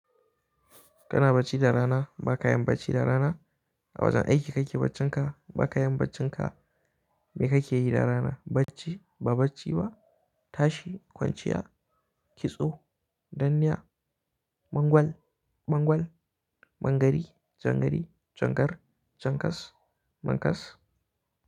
Kana bacci da rana? Ba ka yin bacci da rana? A wajen aiki kake baccin ka? Ba ka yi baccin ka? Me kake yi da rana? Bacci, ba bacci ba, tashi, kwanciya, kitso, danniya, bangwal, bangwal, bangari, jangari, jankar, jankas, mankas.